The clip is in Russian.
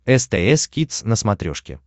стс кидс на смотрешке